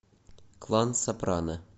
клан сопрано